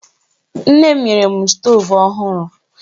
Nne m nyere m stoovu ọhụrụ.